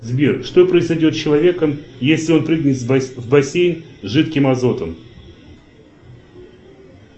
сбер что произойдет с человеком если он прыгнет в бассейн с жидким азотом